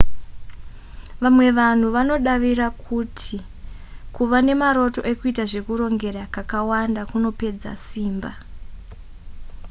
vamwe vanhu vanodavira kuti kuva nemaroto ekuita zvekurongera kakawanda kunopedza simba